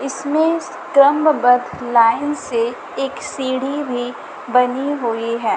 इसमें स्क्रम बध लाइन से एक सीढ़ी भी बनी हुई है।